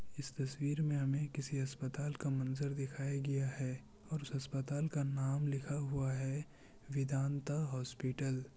इस तस्वीर में हमें किसी अस्पताल का मंजर दिखाया गिया है और उस अस्पताल का नाम लिखा हुआ है वेदान्ता हॉस्पिटल ।